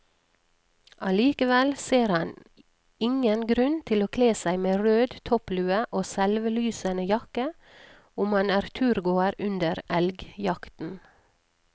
Allikevel ser han ingen grunn til å kle seg med rød topplue og selvlysende jakke om man er turgåer under elgjakten.